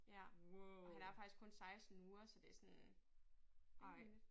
Ja og han er faktisk kun 16 uger så det sådan rimelig nyt